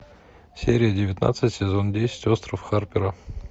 серия девятнадцать сезон десять остров харпера